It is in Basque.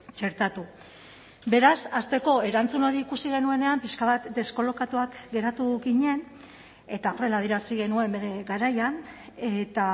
txertatu beraz hasteko erantzun hori ikusi genuenean pixka bat deskolokatuak geratu ginen eta horrela adierazi genuen bere garaian eta